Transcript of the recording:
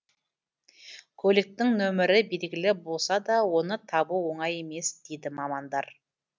көліктің нөмірі белгілі болса да оны табу оңай емес дейді мамандар